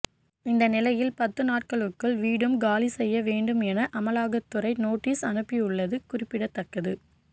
இந்த நிலையில் பத்து நாட்களுக்குள் வீடும் காலி செய்ய வேண்டும் என அமலாக்கத் துறை நோட்டீஸ் அனுப்பியுள்ளது குறிப்பிடத்தக்கது